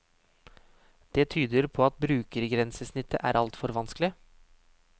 Det tyder på at brukergrensesnittet er altfor vanskelig.